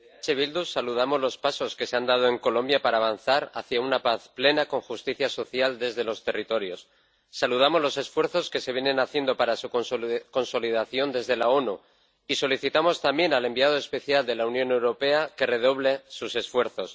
Señor presidente, desde EH Bildu saludamos los pasos que se han dado en Colombia para avanzar hacia una paz plena con justicia social desde los territorios. Saludamos los esfuerzos que se vienen haciendo para su consolidación desde las Naciones Unidas y solicitamos también al enviado especial de la Unión Europea que redoble sus esfuerzos.